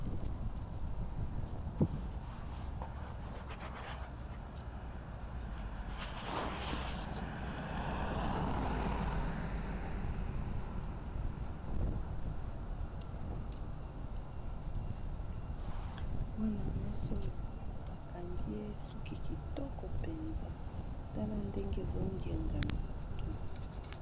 Mwana mwasi oyo bakangi ye suki kitoko mpenza tala ndenge ezongenga na mutu.